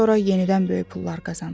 Sonra yenidən böyük pullar qazandı.